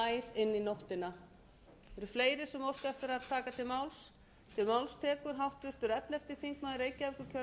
inn í nóttina eru fleiri sem óska eftir að taka til máls